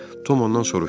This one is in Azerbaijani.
Tom ondan soruşdu.